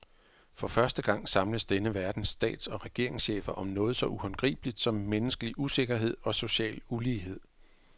For første gang samles denne verdens stats- og regeringschefer om noget så uhåndgribeligt som menneskelig usikkerhed og social ulighed.